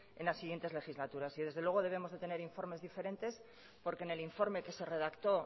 en las siguientes legislaturas y desde luego debemos de tener informes diferentes porque en el informe que se redactó